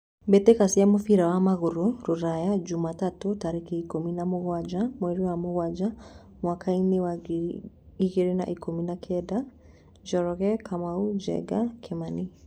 Mbĩtĩka cia mũbira wa magũrũ Ruraya Jumatano tarĩki ikũmi na mũgwanja mweri wa mũgwanja mwakainĩ wa ngiri igĩrĩ na ikũmi na kenda:Njoroge, Kamau, Njenga, Kimani,